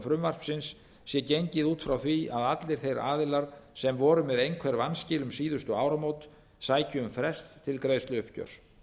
frumvarpsins sé gengið út frá því að allir þeir aðilar sem voru með einhver vanskil um síðustu áramót sæki um frest til greiðsluuppgjörs